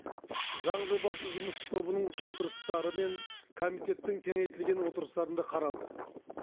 заң жобасы жұмыс тобының отырыстары мен комитеттің кеңейтілген отырыстарында қаралды